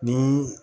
Ni